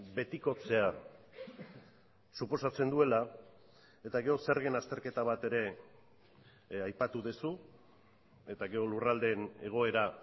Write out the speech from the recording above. betikotzea suposatzen duela eta gero zergen azterketa bat ere aipatu duzu eta gero lurraldeen egoera